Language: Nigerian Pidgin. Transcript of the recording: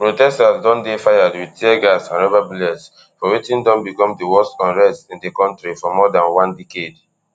protesters don dey fired wit tear gas and rubber bullets for wetin don become di worst unrest in di kontri for more dan one decade